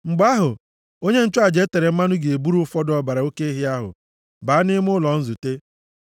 Mgbe ahụ, onye nchụaja e tere mmanụ ga-eburu ụfọdụ ọbara oke ehi ahụ baa nʼime ụlọ nzute.